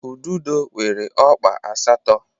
Ududo nwere ọkpa asatọ